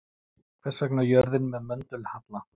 Hvers vegna er jörðin með möndulhalla?